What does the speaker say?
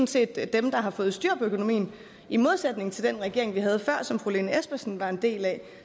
set dem der har fået styr på økonomien i modsætning til den regering vi havde før som fru lene espersen var en del af